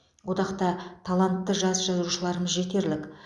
одақта талантты жас жазушыларымыз жетерлік